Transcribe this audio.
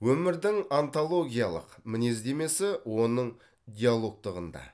өмірдің онтологиялық мінездемесі оның диалогтығында